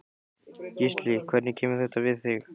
Gísli: Hvernig kemur þetta við þig?